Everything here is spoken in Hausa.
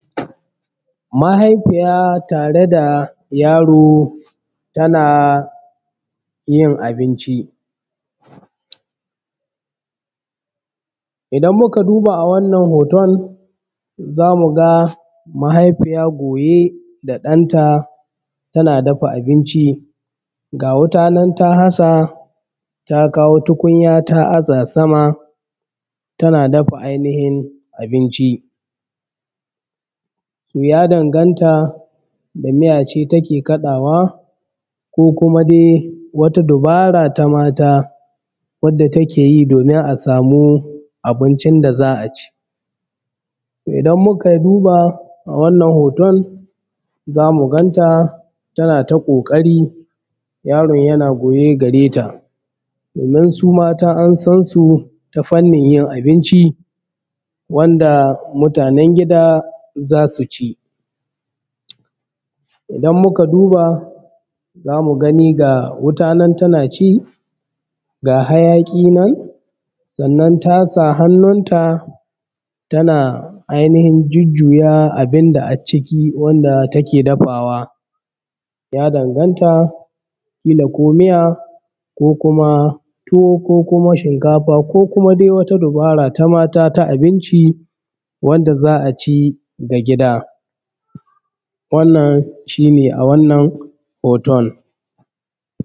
mahaifiya tare da yaro yin abinci idan muka duba a wannan zamuga mahaifiya goye da danta tana dafa abinci ga wuta nan ta nasa ta kawo tukunya ta aza sama tana dafa ai nihin abinci ya danganta da miya ce take kadawa ko kuma dai wata dubara ta mata wadda takeyi domin asamu abincin da za’aci idan muka duba awannan zamu ganta tana kokari yaron yana goye gare ta sannan su mata ansan su ta fannin yin abinci wanda mutanen gida zasuci idan muka duba zamu gani ga wuta nan tanaci zamu gani ga hayaki nan tasa hannunta tana ianihin jujjuya abunda wato acciki wanda take dafawa ya danganta kila ko miya kila ko tuwo ko kuma shimkafa ko kuma wata dura ta mata ta abinci wanda za’aci na gida wannan shine a wannan hoton